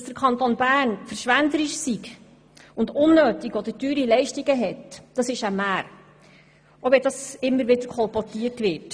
Dass der Kanton Bern verschwenderisch sei und unnötige oder zu teure Leistungen anbiete, ist eine Mär, auch wenn dies immer wieder kolportiert wird.